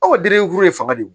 Aw ka denkuru de fanga de do